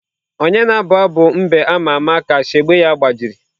Onye na-abụ abụ mbe ama ama ka shegbe ya gbajiri?